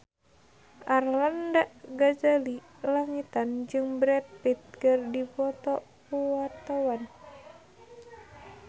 Arlanda Ghazali Langitan jeung Brad Pitt keur dipoto ku wartawan